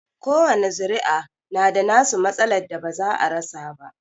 Kowani zuri'a na da nasu matsalar da ba za a rasa ba.